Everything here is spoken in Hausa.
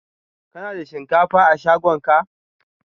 Ka na da shinkafa a shagon ka?